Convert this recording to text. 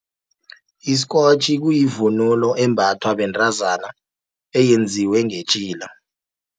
Iskotjhi kuyivunulo, embathwa bentazana eyenziwe ngetjhila.